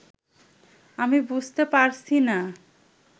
আমি বুঝতে পারছিনা